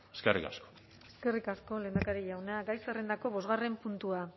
eskerrik asko eskerrik asko lehendakari jauna gai zerrendako bosgarren puntua